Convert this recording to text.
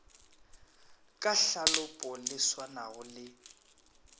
ka tlhalopo le swanago le